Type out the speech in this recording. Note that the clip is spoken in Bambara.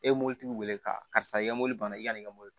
E ye mɔbilitigiw wele ka karisa ye mobili banna i ka nin mɔbili